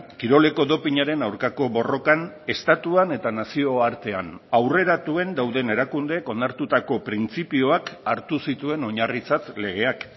kiroleko dopinaren aurkako borrokan estatuan eta nazioartean aurreratuen dauden erakundeek onartutako printzipioak hartu zituen oinarritzat legeak